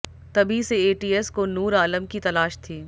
तभी से एटीएस को नूर आलम की तलाश थी